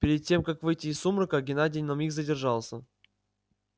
перед тем как выйти из сумрака геннадий на миг задержался